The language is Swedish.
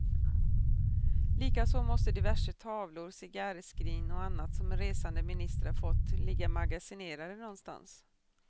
Likaså måste diverse tavlor, cigarrskrin och annat, som resande ministrar fått, ligga magasinerade någonstans.